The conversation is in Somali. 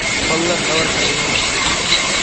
fadlan dhabarka iga masaxo